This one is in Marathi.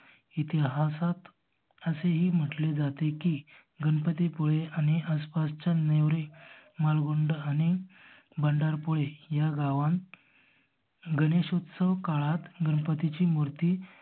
इतिहासात असे ही म्हंटले जाते की गणपती पुळे आणि आसपासच्या नेवारे माळगुंड आणि भंडार पुळे ह्या गावात गणेशोत्सव काळात गणपतीची मूर्ति